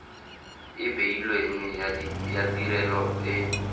e beilweng ya tirelo e